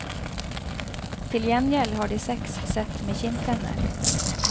Til gjengjeld har de seks sett med kinntenner.